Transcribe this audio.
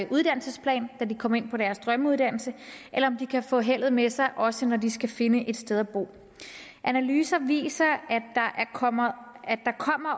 uddannelsesplan da de kom ind på deres drømmeuddannelse eller om de kan få heldet med sig også når de skal finde et sted at bo analyser viser at der kommer